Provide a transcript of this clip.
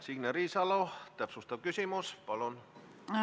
Signe Riisalo, täpsustav küsimus, palun!